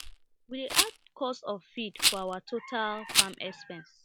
we dey add cost of feed for our total farm expense